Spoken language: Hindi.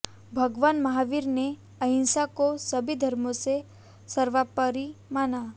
भगवान महावीर ने अहिंसा को सभी धर्मों से सर्वोपरि माना